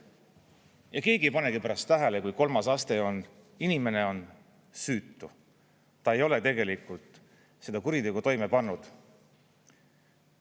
Ja keegi ei pane pärast tähele, kui kolmas aste on, inimene on süütu, ta ei ole tegelikult seda kuritegu toime pannud.